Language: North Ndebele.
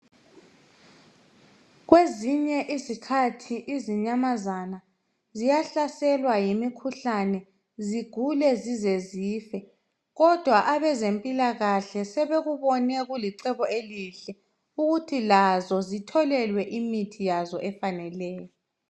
kwezinye izikhathi izinyamazane ziyahlaselwa yimikhuhlane zigule zize zife kodwa abezempilakahle sebebone kulicebo elihle ukuthi lazo zitholelwe imithi yazo